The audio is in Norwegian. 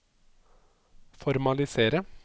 formalisere